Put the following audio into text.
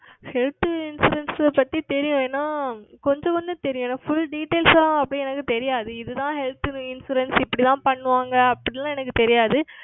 Health Insurance பற்றி தெரியும் ஆனால் கொஞ்சம் வந்து தெரியும் Full Details அப்படி எனக்கு தெரியாது இது தான் Health Insurance இப்படி தான் செய்வார்கள் அப்படி எல்லாம் எனக்கு தெரியாது